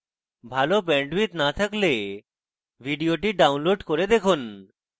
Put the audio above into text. ভাল bandwidth না থাকলে ভিডিওটি download করে দেখুন